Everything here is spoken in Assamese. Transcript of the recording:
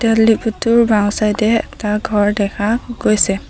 তেল ডিপো টোৰ বাওঁ চাইড এ এটা ঘৰ দেখা গৈছে।